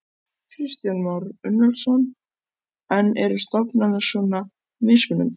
Kristján Már Unnarsson: En eru stofnanir svona mismunandi?